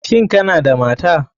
Shin Kana da mata?